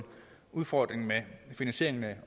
udfordring med finansieringen